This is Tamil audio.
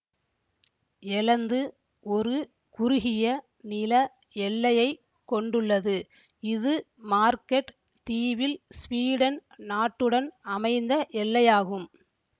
எலந்து ஒரு குறுகிய நில எல்லையை கொண்டுள்ளது இது மார்கெட் தீவில் ஸ்வீடன் நாட்டுடன் அமைந்த எல்லையாகும்